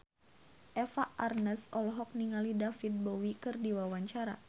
Eva Arnaz olohok ningali David Bowie keur diwawancara